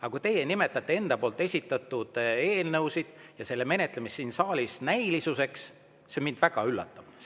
Aga kui teie nimetate enda esitatud eelnõusid ja nende menetlemist siin saalis näilisuseks, siis see mind väga üllatab.